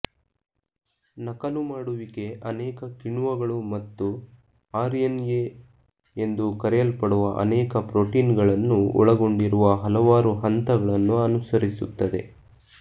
ನಕಲುಮಾಡುವಿಕೆ ಅನೇಕ ಕಿಣ್ವಗಳು ಮತ್ತು ಆರ್ಎನ್ಎ ಎಂದು ಕರೆಯಲ್ಪಡುವ ಅನೇಕ ಪ್ರೊಟೀನ್ಗಳನ್ನು ಒಳಗೊಂಡಿರುವ ಹಲವಾರು ಹಂತಗಳನ್ನು ಅನುಸರಿಸುತ್ತದೆ